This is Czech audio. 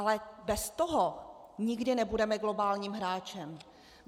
Ale bez toho nikdy nebudeme globálním hráčem.